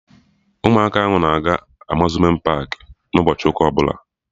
Ụmụaka ahụ na-aga Amuzmenti paakị n'ụbọchị ụka ọbụla